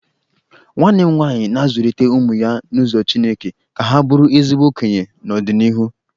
Nwanne m nwaanyị na-azụlite ụmụ ya n'ụzọ chineke ka ha bụrụ ezigbo okenye n'ọdịnịhu.